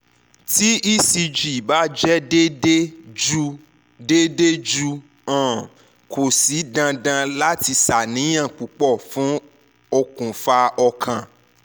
ti ecg ba jẹ deede ju deede ju um ko si dandan lati ṣàníyàn pupọ fun okunfa okan